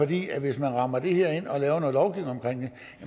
det at hvis man rammer det her ind og laver noget lovgivning omkring det